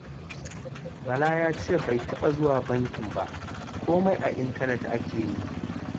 Bala ya ce bai taɓa zuwa bankin ba, komai a intanet ake yi